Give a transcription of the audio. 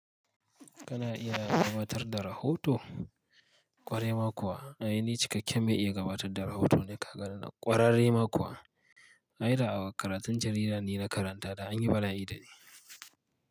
Kana iya gabatar da rahoto ƙwarai ma kuwa? Ai ni cikakken me iya gabatar da rahoto ne ka ganni nan ƙwararre ma kuwa. Aida a karatun jarida ni na karanta da an yi bala'i da ni.